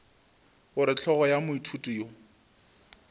gore hlogo ya moithuti yo